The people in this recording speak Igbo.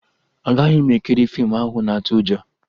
Agaghị m ekiri fiimu ahụ na-atụ ụjọ